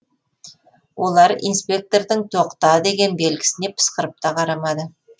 олар инспектордың тоқта деген белгісіне пысқырып та қарамады